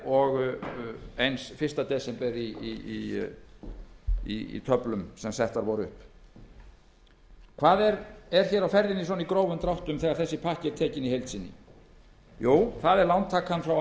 og eins fyrsta desember í töflum sem settar voru upp hvað er hér á ferðinni í grófum dráttum þegar pakkinn er skoðaður í heild sinni jú það er lántakan frá